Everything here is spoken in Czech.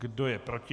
Kdo je proti?